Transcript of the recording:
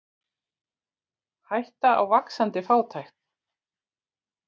Hætta á vaxandi fátækt